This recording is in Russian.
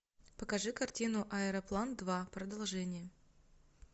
покажи картину аэроплан два продолжение